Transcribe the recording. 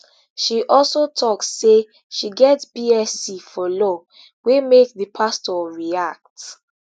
she also tok say she get bsc for law wey make di senior pastor react